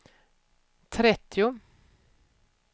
trettio